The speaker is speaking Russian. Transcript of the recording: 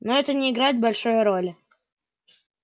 но это не играет большой роли